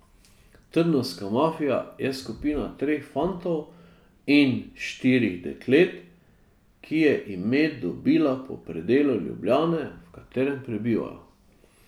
Trnovska mafija je skupina treh fantov in štirih deklet, ki je ime dobila po predelu Ljubljane, v katerem prebivajo.